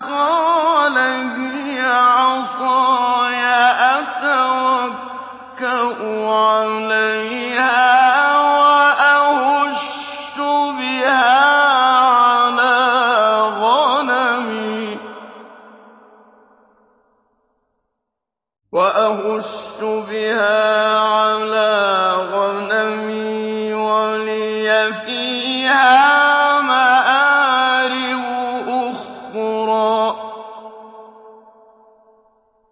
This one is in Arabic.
قَالَ هِيَ عَصَايَ أَتَوَكَّأُ عَلَيْهَا وَأَهُشُّ بِهَا عَلَىٰ غَنَمِي وَلِيَ فِيهَا مَآرِبُ أُخْرَىٰ